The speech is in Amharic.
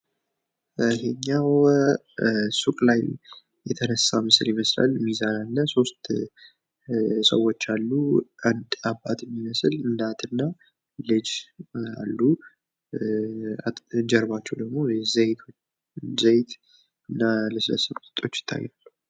ይህኛው ሱቅ ላይ የተነሳ ምስል ይመስላል ሚዛን አለ 3 ሰዎች አሉ አንድ አባት የሚመስል እናት እና ልጅ አሉ ።ጀርባቸው ደግሞ ዘይት እና ለስላሳ መጠጦች ይታያሉ።